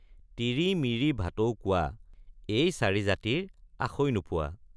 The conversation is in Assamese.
তিৰি মিৰি ভাটৌ কোৱা এই চাৰি জাতিৰ আসৈ নোপোৱা।